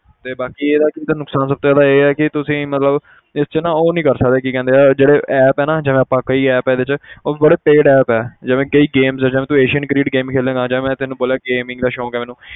ਤੇ ਬਾਕੀ ਇਹਦਾ ਦੂਸਰਾ ਨੁਕਸਾਨ ਸਭ ਤੋਂ ਜ਼ਿਆਦਾ ਇਹ ਆ ਕਿ ਤੁਸੀਂ ਮਤਲਬ ਇਹ 'ਚ ਨਾ ਉਹ ਨੀ ਕਰ ਸਕਦੇ ਕੀ ਕਹਿੰਦੇ ਆ ਜਿਹੜੇ app ਹੈ ਨਾ ਜਿਵੇਂ ਆਪਾਂ ਕਈ app ਆ ਇਹਦੇ 'ਚ ਉਹ 'ਚ ਬੜੇ paid app ਹੈ ਜਿਵੇਂ ਕਈ games ਜਿਵੇਂ ਤੂੰ asian ਕ੍ਰਿਕਟ game ਖੇਡੇਂਗਾ ਜੇ ਮੈਂ ਤੈਨੂੰ ਬੋਲਿਆ gaming ਦਾ ਸ਼ੌਂਕ ਹੈ ਮੈਨੂੰ